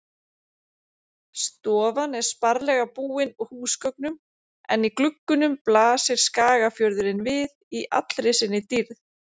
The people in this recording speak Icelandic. Stofan er sparlega búin húsgögnum en í gluggunum blasir Skagafjörðurinn við í allri sinni dýrð.